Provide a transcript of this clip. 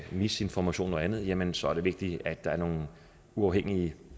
misinformation og andet jamen så er det vigtigt at der er nogle uafhængige